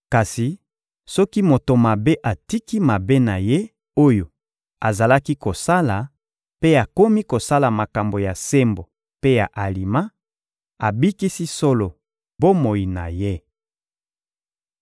Kasi soki moto mabe atiki mabe na ye oyo azalaki kosala mpe akomi kosala makambo ya sembo mpe ya alima, abikisi solo bomoi na ye.